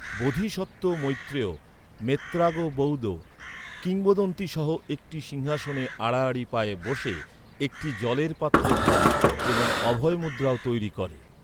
বোধিসত্ত্ব মৈত্রেয়, 'মেত্রাগো বৌদো' কিংবদন্তি সহ একটি সিংহাসনে আড়াআড়ি পায়ে বসে, একটি জলের পাত্র ধরে এবং অভয় মুদ্রাও তৈরি করে।